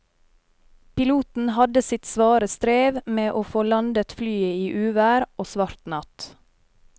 Piloten hadde sitt svare strev med å få landet flyet i uvær og svart natt.